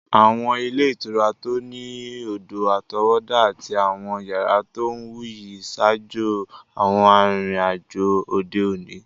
Àwọn ilé ìtura tó ní odò-àtọwọ́dá àti àwọn yàrá tó wuyì ń ṣaájò àwọn arìnrìn-àjò òde òní.